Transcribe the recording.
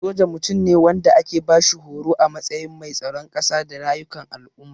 Soja Mutum ne wanda ake bashi horo a matsayin mai tsaron kasa da rayukan al'umma.